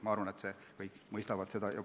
Ma arvan, et kõik mõistavad seda.